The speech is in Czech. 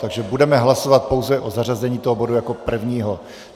Takže budeme hlasovat pouze o zařazení toho bodu jako prvního.